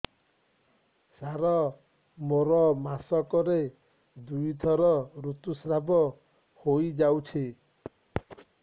ସାର ମୋର ମାସକରେ ଦୁଇଥର ଋତୁସ୍ରାବ ହୋଇଯାଉଛି